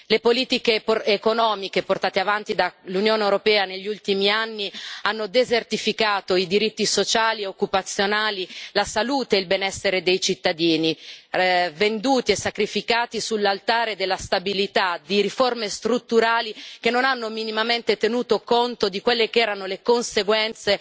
Le politiche economiche portate avanti dall'Unione europea negli ultimi anni hanno desertificato i diritti sociali e occupazionali, la salute e il benessere dei cittadini, venduti e sacrificati sull'altare della stabilità di riforme strutturali che non hanno minimamente tenuto conto di quelle che erano le conseguenze